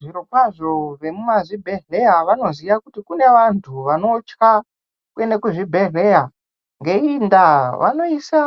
Zvirokwazvo wemuzvibhedhlera wanoziwa kuti kune vanhu vanotya kuenda kuzvibhedhlera ngeiinda wanoisa